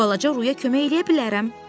Balaca Ruya kömək eləyə bilərəm,